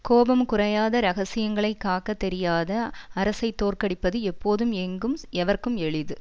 கோபம் குறையாத ரகசியங்களைக் காக்க தெரியாத அரசை தோற்கடிப்பது எப்போதும் எங்கும் எவர்க்கும் எளிது